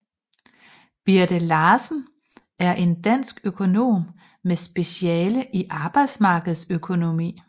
Birthe Larsen er en dansk økonom med speciale i arbejdsmarkedsøkonomi